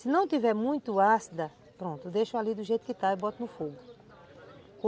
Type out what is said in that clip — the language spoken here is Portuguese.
Se não tiver muito ácida, pronto, deixo ali do jeito que está e boto no fogo.